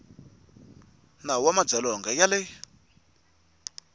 nawu wa madzolonga ya le